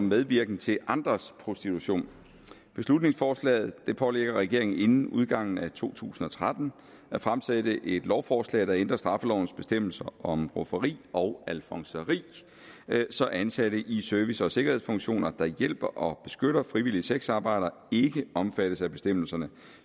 medvirken til andres prostitution beslutningsforslaget pålægger regeringen inden udgangen af to tusind og tretten at fremsætte et lovforslag der ændrer straffelovens bestemmelser om rufferi og alfonseri så ansatte i service og sikkerhedsfunktioner der hjælper og beskytter frivillige sexarbejdere ikke omfattes af bestemmelserne